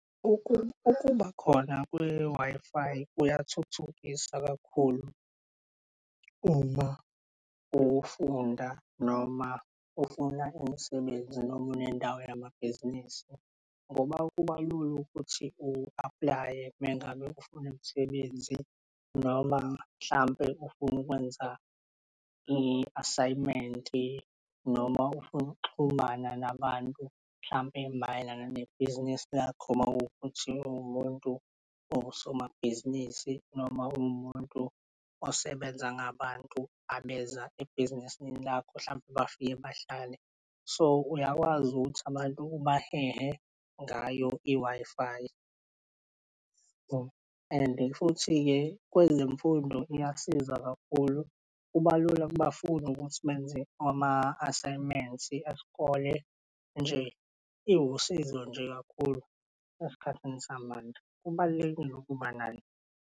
Ukuba khona kwe-Wi-Fi kuyathuthukisa kakhulu uma ufunda noma ufuna imisebenzi noma unendawo yamabhizinisi, ngoba kuba lula ukuthi u-apply-e mangabe ufuna imisebenzi noma mhlampe ufuna ukwenza i-assignment noma ufuna ukuxhumana nabantu hlampe mayelana nebhizinisi lakho mawukuthi uwumuntu osomabhizinisi noma umuntu osebenza ngabantu abeza ebhizinisini lakho, hlampe bafike bahlale. So, uyakwazi ukuthi abantu ubahehe ngayo i-Wi-Fi. And futhi-ke kwezemfundo iyasiza kakhulu kuba lula kubafundi ukuthi benze ama-assignments esikole nje iwusizo nje kakhulu esikhathini samanje. Kubalulekile ukuba nayo.